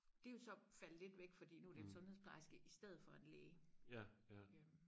det er jo så faldet lidt væk fordi nu er det en sundhedsplejerske i stedet for en læge øh